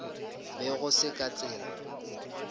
be go se ka tsela